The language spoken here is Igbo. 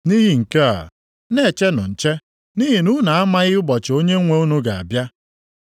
“Nʼihi nke a, na-echenụ nche, nʼihi na unu amaghị ụbọchị Onyenwe unu ga-abịa.